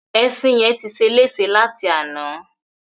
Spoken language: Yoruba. Ẹṣin yẹn ti ṣeléṣe láti àná.